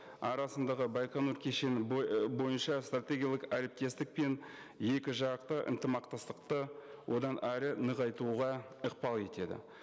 арасындағы байқоңыр кешені бойынша стратегиялық әріптестік пен екі жақты ынтымақтастықты одан әрі нығайтуға ықпал етеді